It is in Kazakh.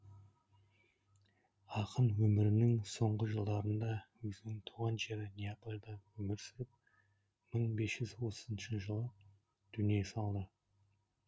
ақын өмірінің соңғы жылдарында өзінің туған жері неаполда өмір сүріп мың бес жүз отызыншы жылы дүние салды